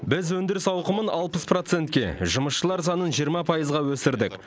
біз өндіріс ауқымын алпыс процентке жұмысшылар санын жиырма пайызға өсірдік